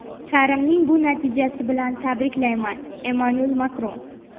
Karimning bu natijasi bilan tabriklayman – Emmanuel Makron.